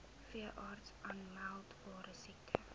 veeartse aanmeldbare siektes